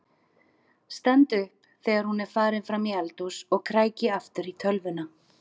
Stend upp þegar hún er farin fram í eldhús og kræki aftur í tölvuna.